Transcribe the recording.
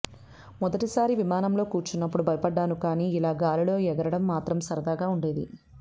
మొదటిసారి విమానంలో కూర్చున్నప్పుడు భయపడ్డాను కానీ ఇలా గాలిలో ఎగరడం మాత్రం సరదాగా ఉండేది